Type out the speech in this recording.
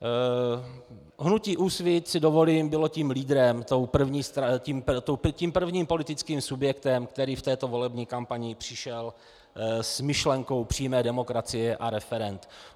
Hnutí úsvit, si dovolím, bylo tím lídrem, tím prvním politickým subjektem, který v této volební kampani přišel s myšlenkou přímé demokracie a referend.